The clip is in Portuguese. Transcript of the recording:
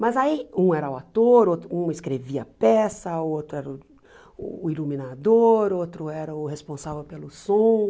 Mas aí um era o ator, outro um escrevia a peça, o outro era o o iluminador, o outro era o responsável pelo som.